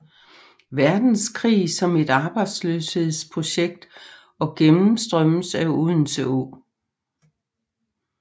Verdenskrig som et arbejdsløshedsprojekt og gennemstrømmes af Odense Å